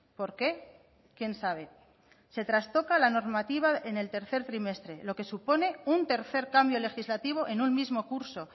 por qué quién sabe se trastoca la normativa en el tercer trimestre lo que supone un tercer cambio legislativo en un mismo curso